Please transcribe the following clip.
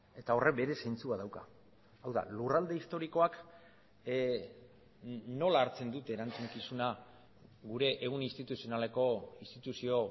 eta horrek bere zentzua dauka hau da lurralde historikoak nola hartzen dute erantzukizuna gure ehun instituzionaleko instituzio